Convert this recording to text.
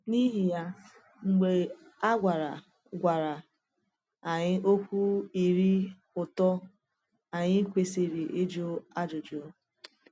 N’ihi ya, mgbe a gwara gwara anyị okwu ire ụtọ, anyị kwesịrị ịjụ ajụjụ.